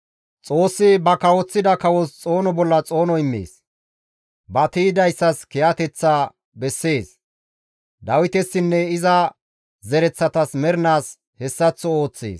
Xoossi ba kawoththida kawos xoono bolla xoono immees. Ba tiydayssas kiyateththa bessees; Dawitesinne iza zereththatas mernaas hessaththo ooththees.